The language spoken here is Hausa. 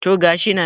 to gashi nan